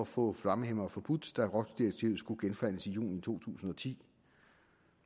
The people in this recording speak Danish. få flammehæmmere forbudt da rohs direktivet skulle genforhandles i juni to tusind og ti